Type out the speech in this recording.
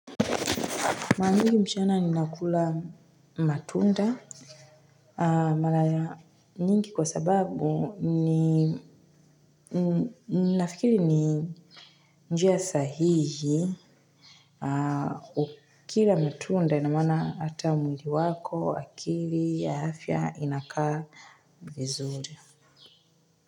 Mara mingi mchana ninakula matunda. Malaya nyingi kwa sababu ni nafikiri ni njia sahihi. Ukila matunda na mana ata mwili wako, akili, ya hafya inakaa vizuri.